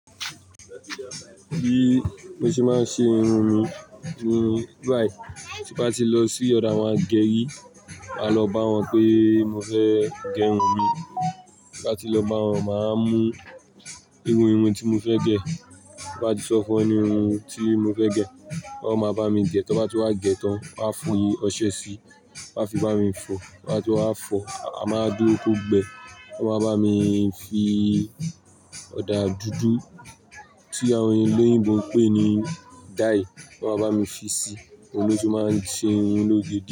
Bi mo tí máa ń ṣe irun mi ni báyìí tí bá ti lọ sí ọ̀dọ̀ àwọn ageri, máa lọ bá wọn pé mo fẹ́ gẹ irun mi. Bí bá ti lọ bá wọn, máa mú irú irun tí mo fẹ́ gẹ̀, bí bá ti sọ fún wọn irun tí mo fẹ́ gẹ̀, wọ́n máa bá mi gẹ̀. Tí wọ́n bá ti wá gẹ̀ tán, wọ́n a fọyín ọṣẹ sí i, wọ́n a fi bá mi fọ, wọ́n á ti wá fọ, a máa dúró kó gbẹ, wọ́n máa bá mi fi ọ̀dà dúdú tí àwọn ẹlẹ́yìnbo ń pè ní dye, wọ́n máa bá mi fi sí i, òun ló ti máa ń ṣe irun lóge diẹ.